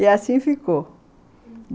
E assim ficou, uhum.